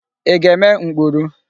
Ị ga-eme mkpuru?